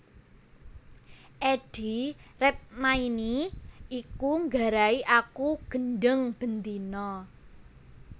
Eddie Redmayne iki nggarai aku gendheng ben dina